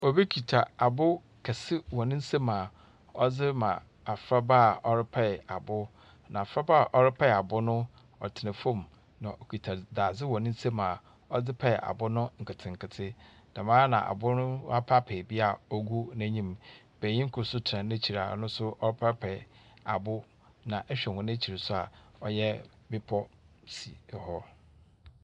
Obi kita abow kɛse wɔ ne nsamu a ɔdze rema abofraba a ɔrepae abow. Na abofrana a ɔrepae abo no, ɔtsena fam, na ɔkita z dadze wɔ ne nsa a ɔdze pae abow no nketenkete. Dɛm ara na abow no, ɔapaapae bi a ogu n'enyim. Benyin kor nso tsena n'ekyir a ɔno nso repaapae abow. na ehwɛ hɔn ekyir nso a ɔyɛ bepɔw si hɔ.